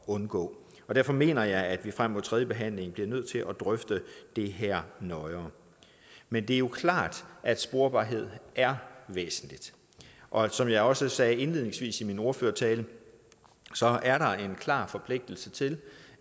undgå derfor mener jeg at vi frem mod tredjebehandlingen bliver nødt til at drøfte det her nøjere men det er jo klart at sporbarhed er væsentligt og som jeg også sagde indledningsvis i min ordførertale er der en klar forpligtelse til